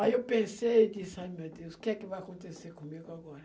Aí eu pensei e disse, ai meu Deus, o que que vai acontecer comigo agora?